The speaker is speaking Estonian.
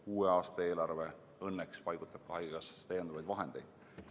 Uue aasta eelarve õnneks paigutab haigekassasse lisavahendeid.